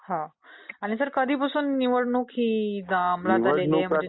आणि सर कधीपासून निवडणूक ही आम्लात आलेली आहे ?